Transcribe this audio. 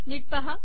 नीट पहा